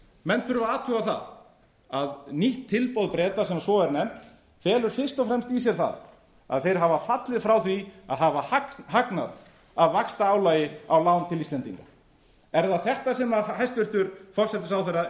menn þurfa að athuga það að nýtt tilboð breta sem svo er nefnt felur fyrst og fremst í sér það að þeir hafa fallið frá því að hafa hagnað af vaxtaálagi á lán til íslendinga er það þetta sem hæstvirtur forsætisráðherra er